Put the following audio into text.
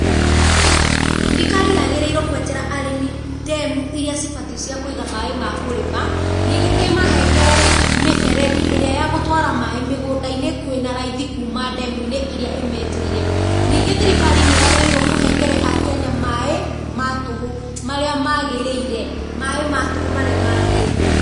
Thirikari yagĩrĩirwo kwenjera arĩmi ndemu irĩa cĩbatiĩ cia kũiga maaĩ ma kũrĩma. Ningĩ ĩmahengere mĩberethi ĩrĩa ya gũtwara maaĩ mĩgũndainĩ kwĩna raithi kuũma ndemũ-inĩ irĩa ĩmenjeire. Ningĩ thirikari nĩ yagĩrĩirwo kũhengere akenya maaĩ ma tũhũ marĩa magĩrĩire. Maaĩ ma tũhũ marĩa magĩrĩire.